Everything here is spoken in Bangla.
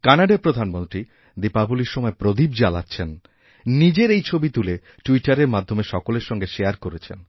কানাডার প্রধানমন্ত্রী দীপাবলীর সময় প্রদীপজ্বালাচ্ছেন নিজের এই ছবি তুলে টুইটারের মাধ্যমে সকলের সঙ্গে শেয়ার করেছেন